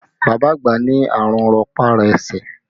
Bàbá àgbà ní àrùn rọpá-rọsẹ̀